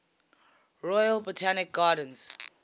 royal botanic gardens